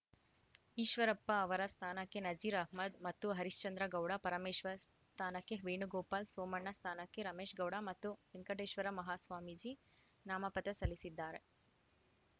ಈಶ್ವರಪ್ಪ ಅವರ ಸ್ಥಾನಕ್ಕೆ ನಜೀರ್‌ ಅಹ್ಮದ್‌ ಮತ್ತು ಹರಿಶ್ಚಂದ್ರಗೌಡ ಪರಮೇಶ್ವರ್‌ ಸ್ಥಾನಕ್ಕೆ ವೇಣುಗೋಪಾಲ್‌ ಸೋಮಣ್ಣ ಸ್ಥಾನಕ್ಕೆ ರಮೇಶ್‌ಗೌಡ ಮತ್ತು ವೆಂಕಟೇಶ್ವರ ಮಹಾಸ್ವಾಮೀಜಿ ನಾಮಪತ್ರ ಸಲ್ಲಿಸಿದ್ದಾರೆ